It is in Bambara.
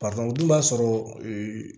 o dun b'a sɔrɔ